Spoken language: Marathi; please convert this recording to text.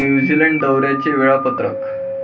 न्यूझीलंड दौऱ्याचे वेळापत्रक